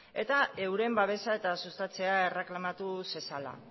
eta euren babesa eta sustatzea erreklamatu zezala